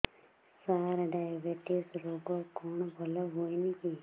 ସାର diabetes ରୋଗ କଣ ଭଲ ହୁଏନି କି